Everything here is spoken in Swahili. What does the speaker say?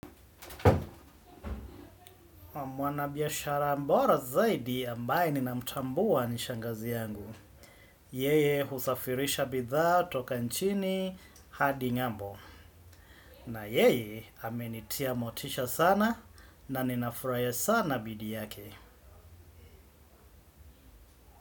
Mwana biashara mbora zaidi ambaye ninamtambua ni shangazi yangu. Yeye husafirisha bidhaa toka nchini hadi ngambo. Na yeye amenitia motisha sana na ninafuraia sana bidii yake.